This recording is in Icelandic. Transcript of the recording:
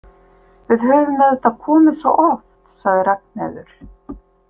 Við höfum auðvitað komið svo oft, sagði Ragnheiður.